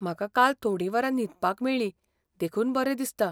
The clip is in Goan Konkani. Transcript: म्हाका काल थोडीं वरां न्हिदपाक मेळ्ळी, देखून बरें दिसता.